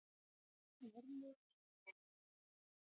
Örn og Örlygur, Reykjavík.